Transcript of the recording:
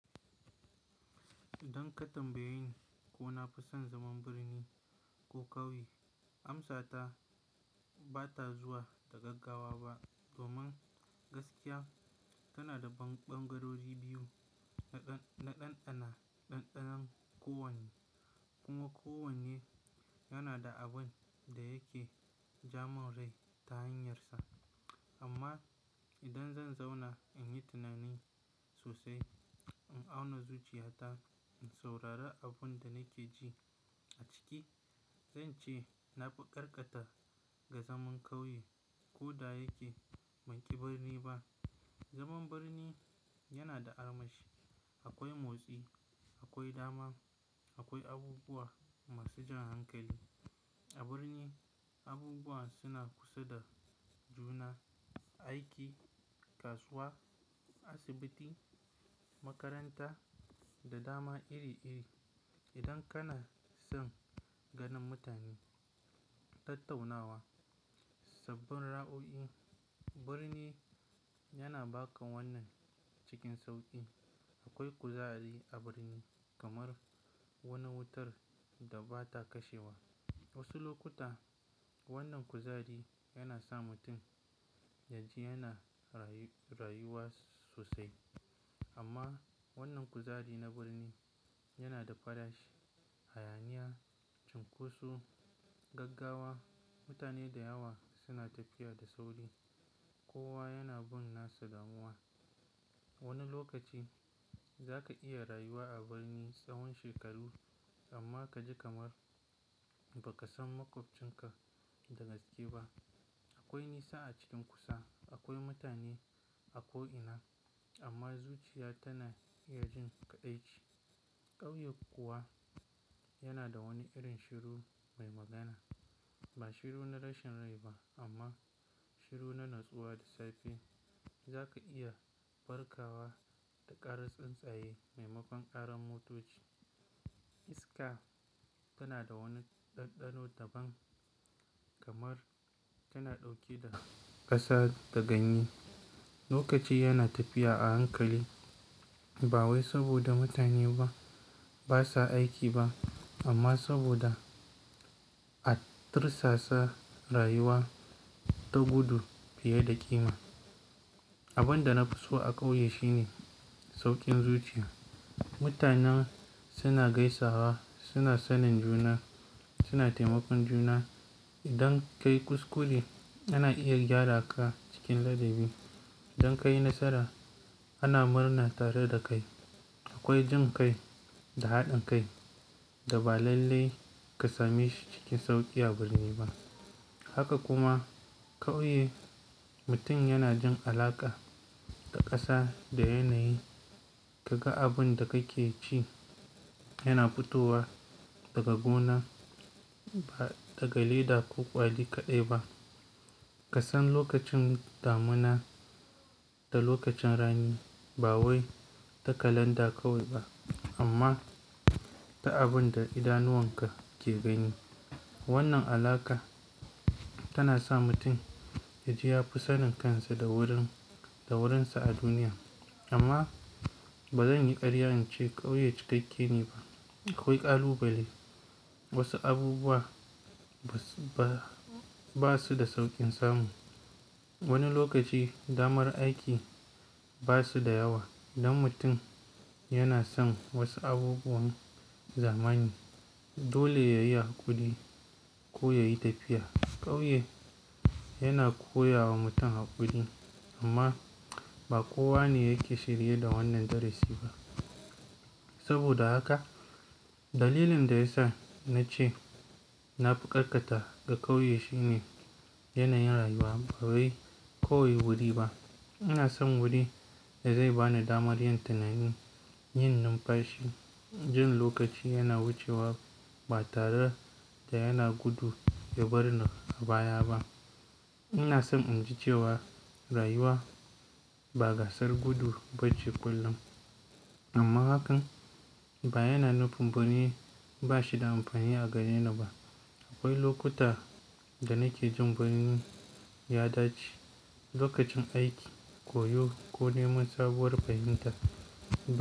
Don ka tambayi ko na fi son zaman birni ko ƙauye, amsata bata zuwa da gaggawa ba. Domin gaskiya, yana da ɓangarori biyu na ɗanɗana. Ɗanɗanon kowanne kuma kowanne yana da abin da yake jamon rai ta hanyarsa. Amma idan zan zauna in yi tunani sosai, in auna zuciyata, in saurari abin da nake ji a ciki, zance na fi karkata ga zaman ƙauye. Ko da yake ban ƙi birni ba. Zaman birni yana da armashi. Akwai motsi, akwai dama, akwai abubuwa masu jan hankali. A birni abubuwa suna kusa da juna. Aiki, kasuwa, asibiti, makaranta da dama iri iri. Idan kana son ganin mutane, tattaunawa, sabbin ra'o'i, birni yana baka wannan cikin sauƙi. Akwai kuzari a birni kamar wani wutar da bata kashewa. Wasu lokuta wannan kuzari yana sa mutum yaji yana rayuwa sosai. Amma wannan kuzari na birni yana da fadashi, hayaniya, cunkoso, gaggawa. Mutane da yawa suna tafiya da sauri. Kowa yana bin nasa damuwan. Wani lokaci zaka iya rayuwa a birni tsawon shekaru amma kaji kamar baka san makwabcinka da gaske ba. Akwai nisa a cikin kusa. Akwai mutane a ko'ina amma zuciya tana iya jin kaɗaici. Ƙauye kuwa yana da wani irin shiru mai magana. Ba shiru na rashin rai ba amma shiru na natsuwa da safe. Zaka iya farkawa da ƙarar tsuntsaye maimakon ƙarar motoci. Iska tana da wani ɗanɗano daban kamar tana ɗauke da ƙasa da ganye. Lokaci yana tafiya a hankali ba wai saboda mutane ba basa aiki ba amma saboda a tirsasa rayuwa ta gudu fiye da ƙima. Abin da na fi so a ƙauye shine sauƙin zuciya. Mutanen suna gaisawa, suna sanin juna, suna taimakon juna. Idan kayi kuskure ana iya gyara ka cikin ladabi. Idan kayi nasara ana murna tare da kai. Akwai jin kai da haɗin kai da ba lalle ka same shi cikin sauƙi a birni ba. Haka kuma ƙauye, mutum yana jin alaƙa da ƙasa da yanayi. Kaga abin da kake ci yana futowa daga gona ba daga leda ko kwali kaɗai ba. Kasan lokacin damina da lokacin rani ba wai ta kalanda kawai ba amma ta abin da idanuwan ka ke gani. Wannan alaƙa tana sa mutum yaji ya fi sanin kansa da wurin-- da wurinsa a duniya. Amma bazan yi ƙaryar in ce ƙauye cikakke ne ba. Akwai ƙalubale. Wasu abubuwa ba su da sauƙin samu. Wani lokaci damar aiki ba su da yawa idan mutum yana son wasu abubuwan zamani. Dole yayi haƙuri ko yayi tafiya. Ƙauye yana koya wa mutum haƙuri amma ba kowa ne yake shirye da wannan darasi ba. Saboda haka dalilin da yasa na ce na fi karkata ga ƙauye shine yanayin rayuwa. Ba wai ƙauye wuri ba. Ina son wuri da zai bani damar yin tunani, yin numfashi, jin lokaci yana wucewa ba tare da yana gudu ya barni a baya ba. Ina son in ji cewa rayuwa ba gasar gudu ba ce kullum. Amma hakan ba yana nufin birni ba shi da amfani a gareni ba. Akwai lokuta da nake jin birni ya dace lokacin aiki, koyo ko neman sabuwar fahimta.